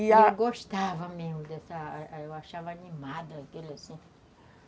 E a, eu gostava mesmo dessa... Eu achava animada aquilo, assim.